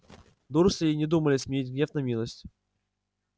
дурсли и не думали сменить гнев на милость